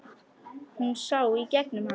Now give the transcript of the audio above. Hún sá í gegnum hann.